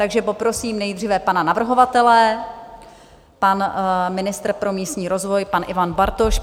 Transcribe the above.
Takže poprosím nejdříve pana navrhovatele - pan ministr pro místní rozvoj, pan Ivan Bartoš.